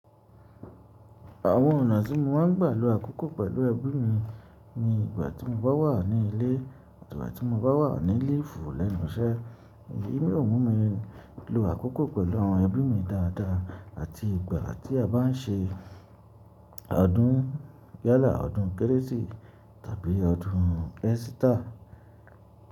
Àwọn ọ̀nà tí mo máa ń gbà ló àkókò pẹ̀lú ẹbí mi ni ìgbà tí mo bá wà ní ilé àti ìgbà tí mo bá wà ní líìfù lẹ́nu iṣẹ́. Èmi ò mú mi lo àkókò pẹ̀lú àwọn ẹbí mi dáadáa àti ìgbà tí a bá n ṣe ọdún yálà, ọdún kérésì tàbí ọdún esita.